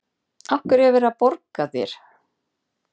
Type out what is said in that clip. Af hverju er verið að borga þér?